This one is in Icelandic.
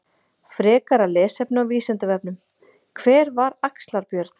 Frekara lesefni á Vísindavefnum: Hver var Axlar-Björn?